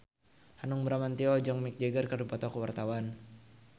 Hanung Bramantyo jeung Mick Jagger keur dipoto ku wartawan